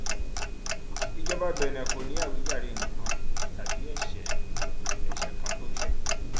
ìjọba benin kò ní àwíjàre nǹkan tàbí ẹsẹ ẹsẹ kan tó ṣe